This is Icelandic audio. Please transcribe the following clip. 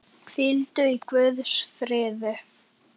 Hvíldu í Guðs friði.